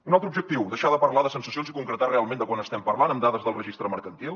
un altre objectiu deixar de parlar de sensacions i concretar realment de quant estem parlant amb dades del registre mercantil